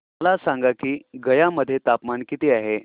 मला सांगा की गया मध्ये तापमान किती आहे